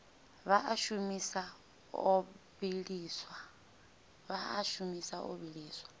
vha a shumisa o vhiliswa